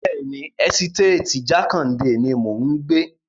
Bẹ́ẹ̀ni, ẹ́sítéètì Jákàndè ni mò ń gbé.